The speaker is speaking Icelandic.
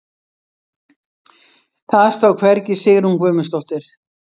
Það stóð hvergi Sigrún Guðmundsdóttir.